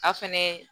A fɛnɛ